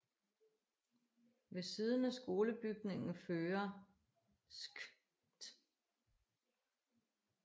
Ved siden af skolebygningen fører Skt